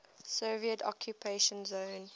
soviet occupation zone